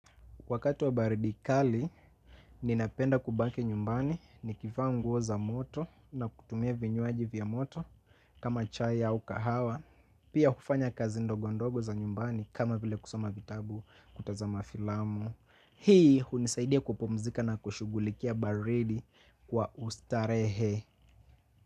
Wakati wa baridi kali, ninapenda kubaki nyumbani nikivaa nguo za moto na kutumia vinywaji vya moto kama chai au kahawa. Pia hufanya kazi ndogo ndogo za nyumbani kama vile kusoma vitabu kutazama filamu. Hii hunisaidia kupumzika na kushughulikia baridi kwa ustarehe.